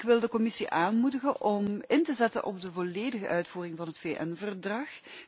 Ik wil de Commissie aanmoedigen om in te zetten op de volledige uitvoering van het VN verdrag.